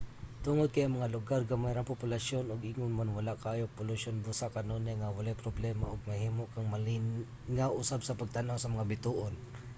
tungod kay ang mga lugar gamay ra ang populasyon ug ingon man wala kaayo polusyon busa kanunay nga walay problema ug mahimo kang malingaw usab sa pagtan-aw sa mga bituon